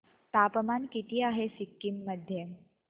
तापमान किती आहे सिक्किम मध्ये